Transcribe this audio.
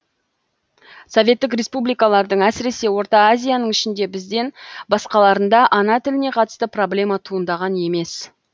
советтік республикалардың әсіресе орта азияның ішінде бізден басқаларында ана тіліне қатысты проблема туындаған емес